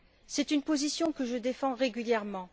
C'est une position que je défends régulièrement.